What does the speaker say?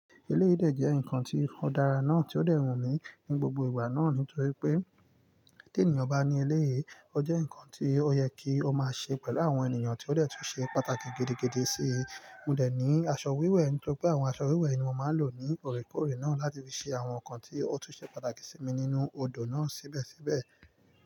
Eléyìí de jẹ́ nǹkan tí ó dára náà tí ó dẹ̀ wù mí ní gbogbo ìgbà náà nítorí pé tí ènìyàn bá ní eléyìí, ó jẹ́ nǹkan tí ó yẹ kí ó máa ṣe pẹ̀lú àwọn ènìyàn tí ó dẹ̀ tún ṣe pàtàkì gidi gidí sí i. Mo dẹ̀ ní aṣọ wíwẹ̀, ntori pé àwọn aṣọ wíwẹ̀ ni mo máa lò ní òorékóòrè náà láti fi ṣe àwọn nǹkan tí ó tún ṣe pàtàkì sí mi nínú odò náà síbẹ̀síbẹ̀